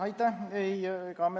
Aitäh!